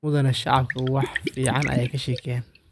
Mudane shacabka wax ficn aya kasheykeyan.